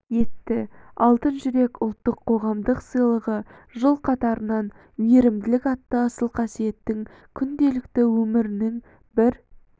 етті алтын жүрек ұлттық қоғамдық сыйлығы жыл қатарынан мейірімділік атты асыл қасиеттің күнделікті өмірінің бір